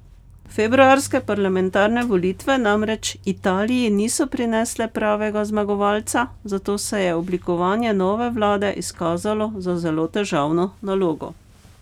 Februarske parlamentarne volitve namreč Italiji niso prinesle pravega zmagovalca, zato se je oblikovanje nove vlade izkazalo za zelo težavno nalogo.